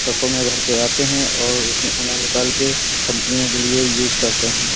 ट्रकों में भर कर आते हैं और उसमें उन्हें निकाल के और उन्हें कंपनी के लिए यूज़ करते हैं।